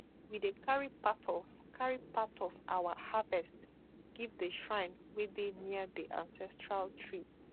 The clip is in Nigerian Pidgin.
we dey carry part of carry part of our harvest give the shrine wey dey near the ancestral tree